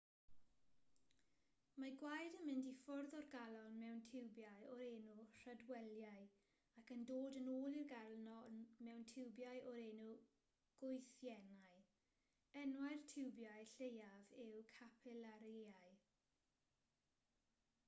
mae gwaed yn mynd i ffwrdd o'r galon mewn tiwbiau o'r enw rhydwelïau ac yn dod yn ôl i'r galon mewn tiwbiau o'r enw gwythiennau enwau'r tiwbiau lleiaf yw capilarïau